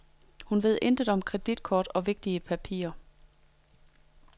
Hun ved intet om kreditkort og vigtige papirer.